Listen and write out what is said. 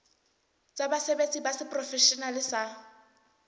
tsa basebetsi ba seprofeshenale ba